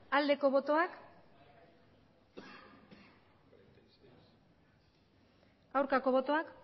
aldeko botoak aurkako botoak